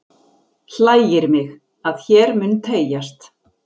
Hlægir mig, að hér mun teygjast